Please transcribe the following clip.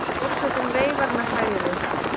Forsetinn veifar með hægri.